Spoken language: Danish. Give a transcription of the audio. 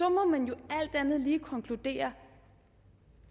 må man jo alt andet lige konkludere